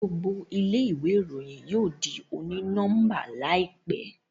gbogbo ilé ìwé Ìròyìn yóò dì oni-nọmba láìpé